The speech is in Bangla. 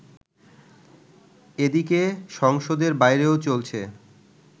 এদিকে সংসদের বাইরেও চলছে